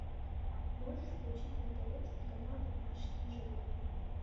можешь включить на тв телеканал домашние животные